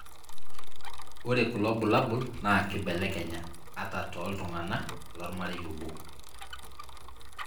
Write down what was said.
ore kulo bulabul na kibelekenya, ata toltungana lomarei oboo.